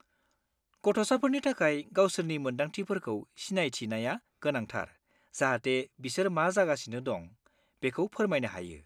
गथ'साफोरनि थाखाय गावसोरनि मोन्दांथिफोरखौ सिनायथिनाया गोनांथार जाहाथे बिसोर मा जागासिनो दं, बेखौ फोरमायनो हायो।